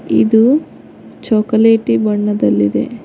ಇದು ಚಾಕೊಲೇಟ್ ಬಣ್ಣದಲ್ಲಿದೆ.